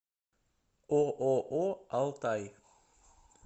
ооо алтай